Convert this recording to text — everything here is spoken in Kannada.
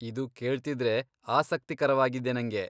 ಇದು ಕೇಳ್ತಿದ್ರೆ ಆಸಕ್ತಿಕರವಾಗಿದೆ ನಂಗೆ.